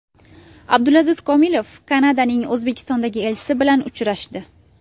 Abdulaziz Komilov Kanadaning O‘zbekistondagi elchisi bilan uchrashdi.